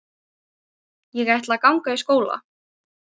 Ég ætla að ganga í skóla.